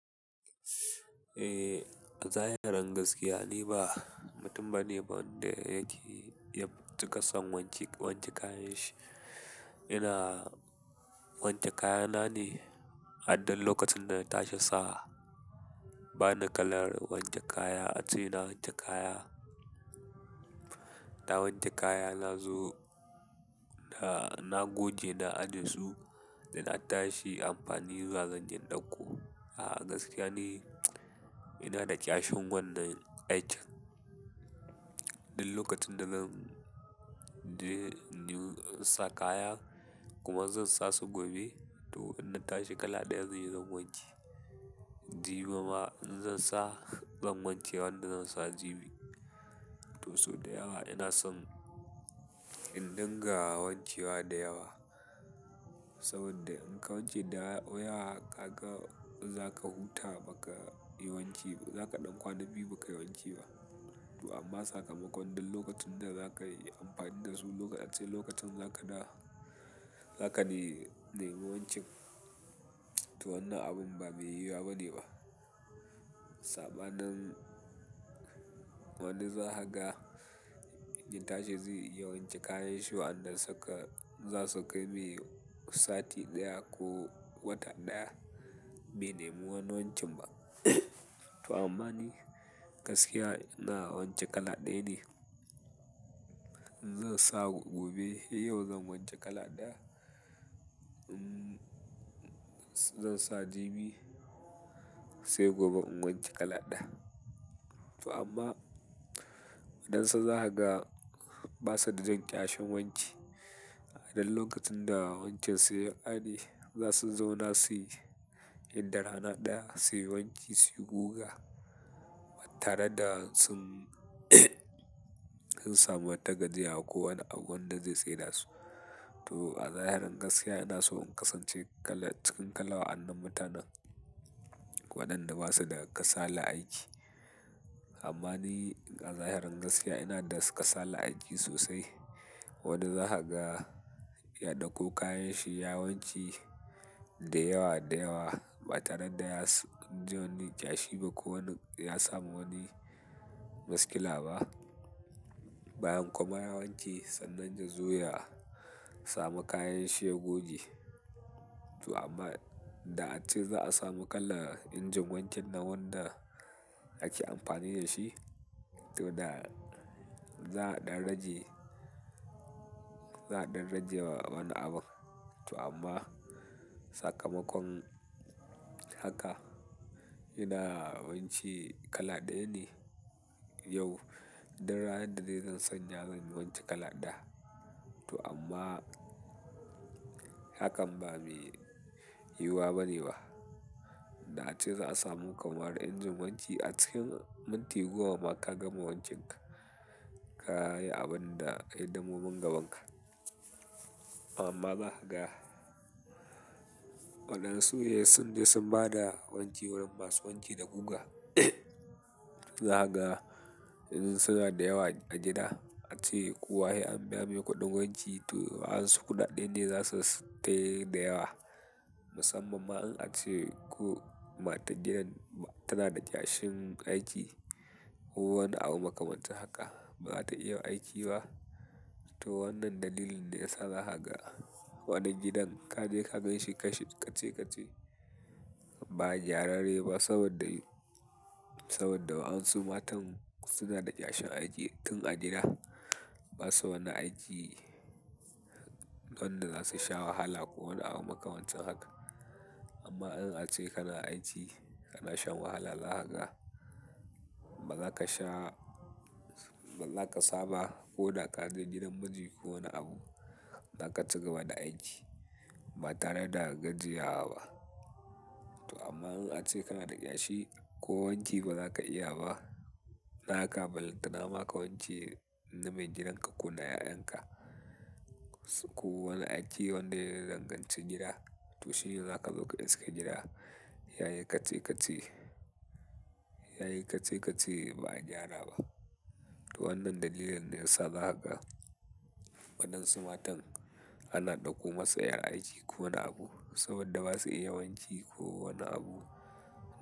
Eh, a zahirin gaskiya ni ba mutum bane wanda yake yab tuƙa son wanke wanke kayan shi. Ina wanke kayana ne har duk lokacin da na tashi sa. Bana kalar wanke kaya ace na wanke kaya na wanke kaya na zo da na goge na aje su, da na tashi amfani zuwa zanyi in ɗauko. A gaskiya ni ina da ƙyashiwannan aikin. Duk lokacin da zan je in sa kaya kuma zan sa su gobe to in na tashi kala ɗaya zan yi na goge jibi ma in zan sa zan wanke wanda zan sa jibi. To so da yawa ina son in dinga wanke wa da yawa. Saboda in ka wanke dayawa kaga in zaka huta bakayi wanki ba zaka ɗan kwana biyu bakayi wanki ba toh amman sakamako duk lokacin da zakayi amfani dasu ace lokaci za da za nema wancan to wannan abun ba me yiwuwa bane ba. Saɓanin wani zakaga za tashi zai iya wanke kayan shi wa'anda suka zasu kai mai sati ɗaya ko wata ɗaya, bai nemi wani wankin ba. To ammani gaskiya ina wanke kala ɗaya ne. In zan sa gobe, yau zan wanke kala ɗaya. In zan sa jibi sai gobe in wanke kala ɗaya. To amma waɗansu zakaga basu da jin ƙyashin wanki. A duk lokacin da wankin su ya ƙare, za su zauna suyi inda rana ɗaya suyi wanki su yi guga, tare da sun, sun samu wata gajiya ko wani abu wanda zai tsai da su. To a zahirin gaskiya ina so in kasance kala cikin kala a wa'an nan mutanan waɗanda basu da ƙasalan aiki amman ni a zahiri inada kasalan aiki sosai. Wani zakaga ya ɗauko kayan shi ya wanke da yawa da yawa ba tare da ya ji wani ƙyashi ba ko wani ya samu wani maskila ba. Bayan kuma ya wanke, sannan ya zo ya samu kayan shi ya goge. To amma da ace za a samu kala injin wanke na wanda ake amfani da shi to da za a ɗan rage, za a ɗan rage wa wani abun. To amma sakamakon haka ina wanki kala ɗaya ne yau, ɗan ranar da zan sanya zan yi wanke kala ɗaya. To amma hakan ba me yiwuwa bane ba. Da ace za a samu kamar injin wanki a cikin minti goma ma ka gama wankinka, ka yi abun da hidimomin gabanka. Amma ba haka. Waɗansu sai sun bada wanki wajen wanki da guga. Za kaga in suna da yawa a gida ace kowa sai an biya mai kuɗin wanki to wayansu kuɗaɗɗen ne za su tayi da yawa. Musamman ma in ace ko matar gidan tana da ƙyashin aiki ko wani abu makamancin haka baza ta iya aiki ba. To wannan dalilin ne yasa za kaga wani gidan kaje ka ganshi kace kace ba gyara reba saboda, saboda wayansu matan suna da ƙyashin aiki tun a gida. Basu wannan aiki wanda zasu sha wahala ko wani abu makamancin haka. Amma in ace kana aiki kana shan wahala, za kaga ba zaka sha, ba za ka saba ko da kaje gidan miji ko wani abu zaka ci gaba da aiki ba tare da gajiya wa ba. To amma in ace kana da ƙyashi ko wanki ba zaka iya ba, naka balantana maka wanke na mai gidan ka ko na ya'yan ka. Ko wani aiki wanda ya danganci gida to shine zaka zo ka iske gida. Yayi kace kace, yayi kace kace ba gyara ba. To wannan dalilin ne yasa za kaga waɗansu matan ana ɗauko masa ƴan aiki ko wani abu saboda basu iya wanki ko wani abu.